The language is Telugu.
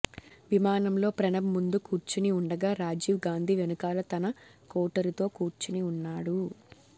విమానంలో ప్రణబ్ ముందు కూర్చిని ఉండగా రాజీవ్ గాంధీ వెనుకాల తన కోటరీ తో కూర్చొని ఉన్నాడు